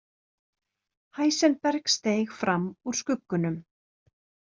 Heisenberg steig fram úr skuggunum.